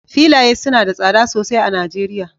filaye suna da tsada sosai a Najeriya